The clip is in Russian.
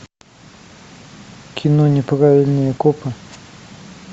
кино неправильные копы